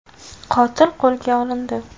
Qotil qo‘lga olindi.